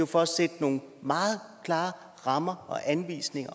for at sætte nogle meget klare rammer og anvisninger